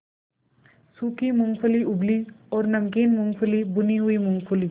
सूखी मूँगफली उबली और नमकीन मूँगफली भुनी हुई मूँगफली